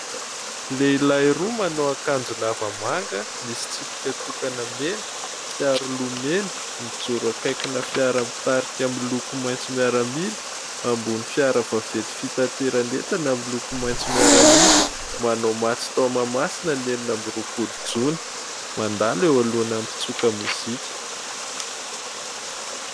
Lehilahy roa manao akanjo lava manga misy tsipika tokana mena, fiaroloha mena, mijoro akaikina fiara mitarika miloko maitso. Miaramila ambony fiara vaventy fitaterana entana amin'ny loko maitso miaramila. Manao matso tao Mahamasina enina amby roapolo jona mandalo eo alohana mpitsoka mozika.